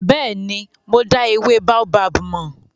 Bẹ́ẹ̀ni, mo dá ewé Baobab mọ̀.